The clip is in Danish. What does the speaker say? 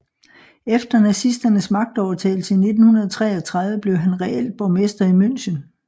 Efter nazisternes magtovertagelse i 1933 blev han reelt borgmester i München